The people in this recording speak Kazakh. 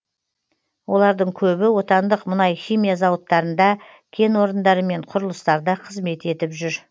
олардың көбі отандық мұнай химия зауыттарында кен орындары мен құрылыстарда қызмет етіп жүр